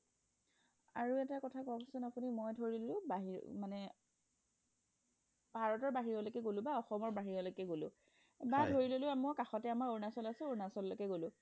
আৰু এটা কথা কক চোন মই ধৰিলো বাহিৰ মানে ভাৰতৰ বাহিৰলৈকে অসমৰ বাহিৰলৈকে গলোঁ বা ধৰি ললু মোৰ কাষতে অৰুণাচল আছে অৰুণাচল লৈকে গলু